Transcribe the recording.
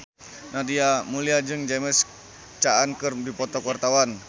Nadia Mulya jeung James Caan keur dipoto ku wartawan